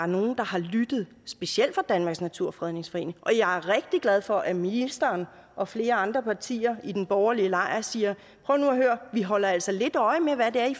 nogle der har lyttet specielt fra danmarks naturfredningsforening og jeg er rigtig glad for at ministeren og flere andre partier i den borgerlige lejr siger prøv nu at høre vi holder altså lidt øje med hvad det er i